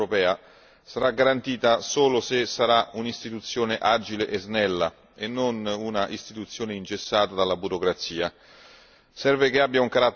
Il buon funzionamento della procura europea sarà garantita solo se sarà un'istituzione agile e snella e non un'istituzione ingessata dalla burocrazia.